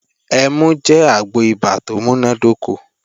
Ẹmu jẹ́ àgbo ibà tó múnádóko